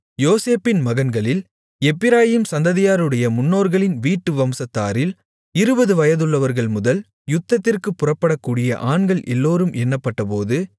யோசேப்பின் மகன்களில் எப்பிராயீம் சந்ததியாருடைய முன்னோர்களின் வீட்டு வம்சத்தாரில் இருபது வயதுள்ளவர்கள்முதல் யுத்தத்திற்குப் புறப்படக்கூடிய ஆண்கள் எல்லோரும் எண்ணப்பட்டபோது